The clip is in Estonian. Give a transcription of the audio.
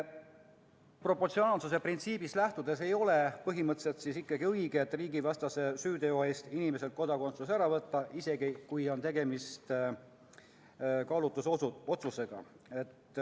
Proportsionaalsuse printsiibist lähtudes ei ole põhimõtteliselt ikkagi õige riigivastase süüteo eest inimeselt kodakondsus ära võtta, isegi kui on tegemist kaalutlusotsusega.